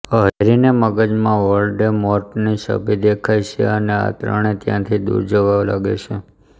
હેરીને મગજમાં વોલ્ડેમોર્ટની છબી દેખાય છે અને આ ત્રણે ત્યાંથી દુર જવા લાગે છે